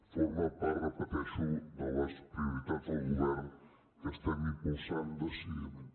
formen part ho repeteixo de les prioritats del govern que estem impulsant decididament